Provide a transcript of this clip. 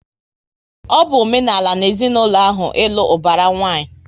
Ọ bụ omenala na ezinaụlọ ahụ, ịlụ ubara nwanyi